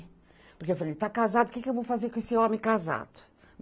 Porque eu falei, está casado, o que eu vou fazer com esse homem casado?